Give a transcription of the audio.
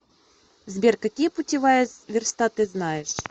сбер какие путевая верста ты знаешь